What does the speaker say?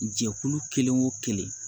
Jɛkulu kelen o kelen